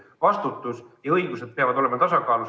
Vastutus ja õigused peavad olema tasakaalus.